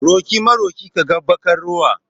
Roƙi maroƙi ka ga baƙar rowa.